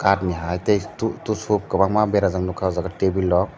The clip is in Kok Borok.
katni hai tei to tissue kwbangma bera jak nukha table o.